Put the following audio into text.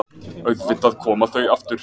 Auðvitað koma þau aftur.